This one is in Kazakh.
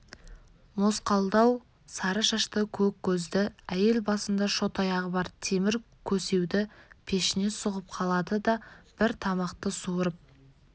мосқалдау сары шашты көк көзді әйел басында шот-аяғы бар темір көсеуді пешіне сұғып қалады да бір тамақты суырып